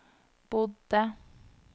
bodde